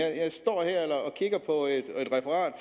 at jeg står her